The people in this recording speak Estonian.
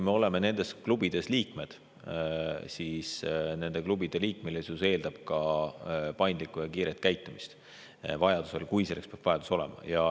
Me oleme nendes klubides liikmed ja nende klubide liikmesus eeldab paindlikku ja kiiret tegutsemist, kui selleks peaks vajadus olema.